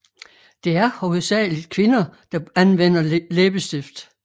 Det er hovedsageligt kvinder der anvender læbestift